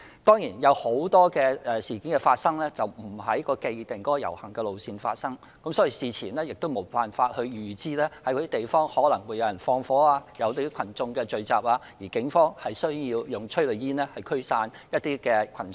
當然，有很多事件並非在既定的遊行路線發生，事前無法預知哪些地方可能會有縱火或有群眾聚集，而警方需要使用催淚煙驅散群眾。